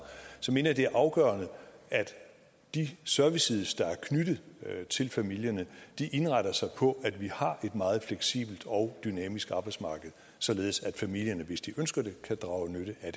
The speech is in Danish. mener jeg det er afgørende at de services der er knyttet til familierne indretter sig på at vi har et meget fleksibelt og dynamisk arbejdsmarked således at familierne hvis de ønsker det kan drage nytte af